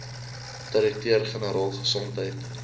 direkteur generaal gesondheid